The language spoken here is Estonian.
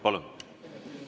Palun!